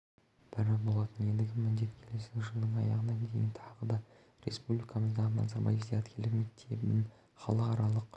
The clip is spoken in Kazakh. бірі болатын ендігі міндет келесі жылдың аяғына дейін тағы да республикамыздағы назарбаев зияткерлік мектебін халықаралық